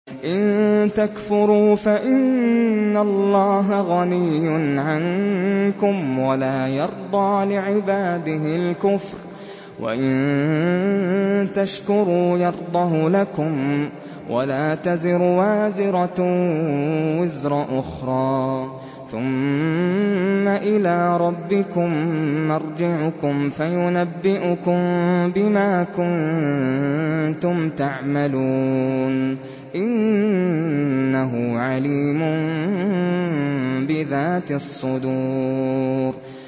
إِن تَكْفُرُوا فَإِنَّ اللَّهَ غَنِيٌّ عَنكُمْ ۖ وَلَا يَرْضَىٰ لِعِبَادِهِ الْكُفْرَ ۖ وَإِن تَشْكُرُوا يَرْضَهُ لَكُمْ ۗ وَلَا تَزِرُ وَازِرَةٌ وِزْرَ أُخْرَىٰ ۗ ثُمَّ إِلَىٰ رَبِّكُم مَّرْجِعُكُمْ فَيُنَبِّئُكُم بِمَا كُنتُمْ تَعْمَلُونَ ۚ إِنَّهُ عَلِيمٌ بِذَاتِ الصُّدُورِ